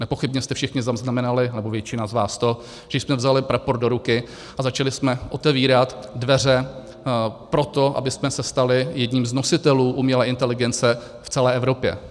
Nepochybně jste všichni zaznamenali, nebo většina z vás, to, že jsme vzali prapor do ruky a začali jsme otevírat dveře pro to, abychom se stali jedním z nositelů umělé inteligence v celé Evropě.